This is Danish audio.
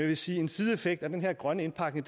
vil sige at en sideeffekt af den her grønne indpakning